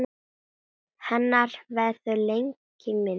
Hennar verður lengi minnst.